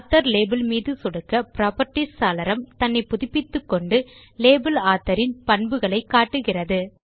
author label மீது சொடுக்க properties சாளரம் தன்னை புதுப்பித்துக்கொண்டு லேபல் ஆத்தோர் இன் பண்புகளை காட்டுகிறது